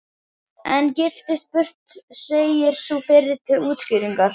Ein giftist burt, segir sú fyrri til útskýringar.